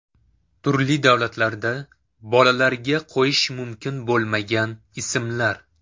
Turli davlatlarda bolalarga qo‘yish mumkin bo‘lmagan ismlar.